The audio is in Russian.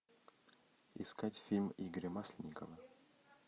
искать фильм игоря масленникова